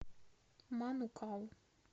манукау